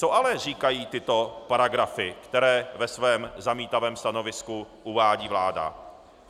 Co ale říkají tyto paragrafy, které ve svém zamítavém stanovisku uvádí vláda?